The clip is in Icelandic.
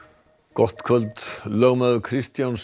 gott kvöld lögmaður Kristjáns